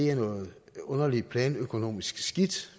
er noget underligt planøkonomisk skidt